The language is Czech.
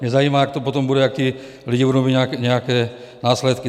Mě zajímá, jak to potom bude, když ti lidé budou mít nějaké následky.